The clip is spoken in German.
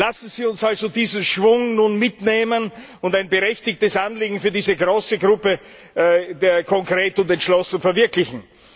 Lassen Sie uns also diesen Schwung nun mitnehmen und ein berechtigtes Anliegen für diese große Gruppe konkret und entschlossen verwirklichen!